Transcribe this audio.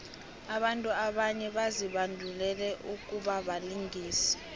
abantu abanye bazibandulele ukubabalingisi